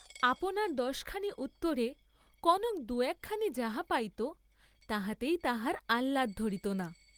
আপনার দশখানির উত্তরে কনক দু’একখানি যাহা পাইত, তাহাতেই তাহার আহ্লাদ ধরিত না।